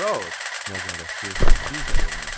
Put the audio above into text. Roc, nəzarətçi bir də elan etdi.